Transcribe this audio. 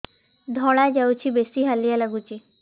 ଧଳା ଯାଉଛି ବେଶି ହାଲିଆ ଲାଗୁଚି